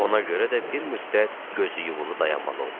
Ona görə də bir müddət gözü yumulu dayanmalı olduq.